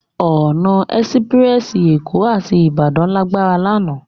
Òná èsipirèsi Ékó áti Ibadan lágbá làná